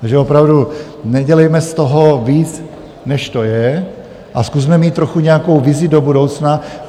Takže opravdu nedělejme z toho víc, než to je, a zkusme mít trochu nějakou vizi do budoucna.